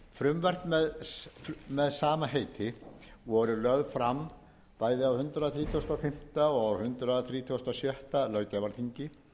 og fóður frumvörp með sama heiti voru lögð fram bæði á hundrað þrítugasta og fimmta og hundrað þrítugasta og sjötta löggjafarþingi